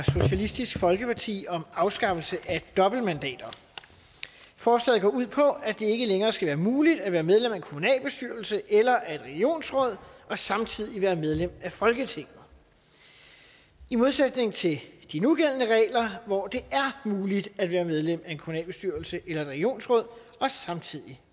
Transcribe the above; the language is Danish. socialistisk folkeparti om afskaffelse af dobbeltmandater forslaget går ud på at det ikke længere skal være muligt at være medlem af en kommunalbestyrelse eller et regionsråd og samtidig være medlem af folketinget i modsætning til de nugældende regler hvor det er muligt at være medlem af en kommunalbestyrelse eller et regionsråd og samtidig